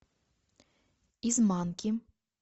из манки